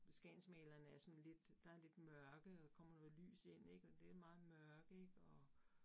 Skagensmalerne er sådan lidt, der lidt mørke og kommer noget lys ind ik, og det meget mørke ik og